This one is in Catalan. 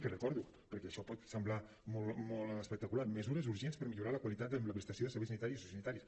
ho recordo perquè això pot semblar molt espectacular mesures urgents per millorar la qualitat en la prestació de serveis sanitaris i sociosanitaris